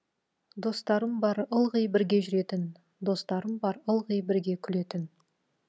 достарым бар ылғи бірге жүретін достарым бар ылғи бірге күлетін